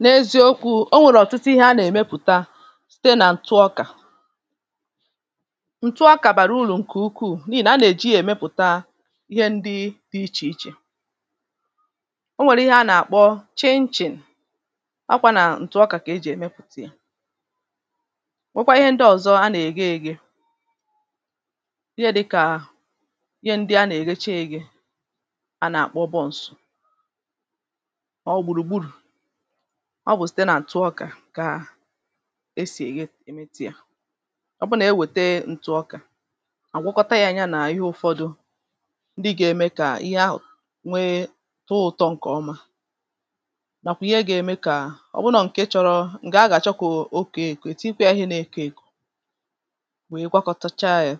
n’eziokwu̇ o nwèrè ọ̀tụtụ ihe a nà-èmepùta site nà ǹtụ ọkà ǹtụ ọkà bàrà urù ǹkè ukwuù n’ihì nà a nà-èji èmepùta ihe ndị dị̇ ichè ichè o nwèrè ihe a nà-àkpọ chinchin ọ kwȧ nà ǹtụ̀ ọkà kà ejì èmepùta ya nwekwa ihe ndị ọ̀zọ a nà-ègstwa egre ihe dịkà ihe ndị a nà-ègdecha egre a nà-àkpọ buns ọọ̇ gbùrùgbùrù ọ bụ̀ site nà ntụ ọkà kà e sì èye emiti yȧ ọ bụ nà e wète ntụ ọkà àgwọkọta yȧ anya nà ihe ụ̀fọdụ ndị ị gà-ème kà ihe ahụ̀ nwee tụụ ụ̀tọ ǹkè ọma nàkwụ̀ ihe gà-eme kà ọ bụ nọ ǹkè chọ̀rọ̀ ǹkè aghàchọkụ̀ okèè kà ètikwa yȧ ihe nà-èke èkò wèe gwakọtacha yȧ ihe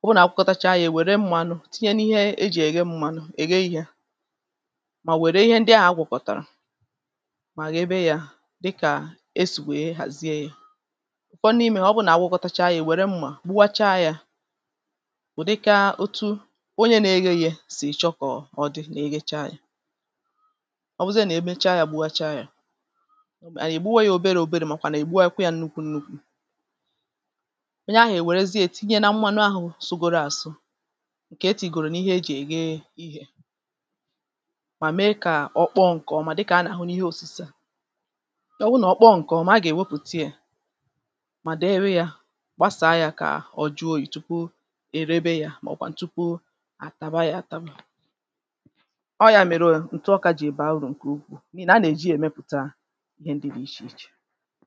ọ bụ nà àgwọkọtacha yȧ è wère mmanụ tinye n’ihe e jì è ge mmanụ è ge ihe mà wère ihe ndị ahụ̀ gwọ̀kọ̀tàrà dịkà esì wèe hàzie yȧ ụ̀fọm n’imė ọ bụnà abụghọtacha yȧ ì wère mmà gbuwachaa yȧ wè dịka otu onye na-egė ye sì chọkọ̀ọ dị na-eghecha yȧ ọ bụzịa nà-emecha yȧ gbuwachaa yȧ ì gbuwe yȧ òbere òbere màkwà nà ì gbuwekwe yȧ nnukwu nnukwu onye ahụ̀ ì wèrezie ètinye na mmȧnụ̇ sogòrò àsụ ǹkè etì gòrò n’ihe e jì è ge ehìè ihe mà mee kà ọ kpọọ ǹkọ̀ọma dịkà anà ọ wụ nà ọ kpọọ ǹkè ọ̀mà a gà-èwepùta yȧ mà dèrè yȧ gbasàa yȧ kà ọ jụọ yȧ tupu erebe yȧ mà ọ kwan tupu àtaba yȧ atara à ọ yȧ mèrè yȧ ǹtụ ọ kȧjị̇ ebe àrụ ǹkè ukwuù mà a nà-èji èmepùta ihe ndị dị̇ ichè ichè